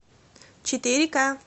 четыре ка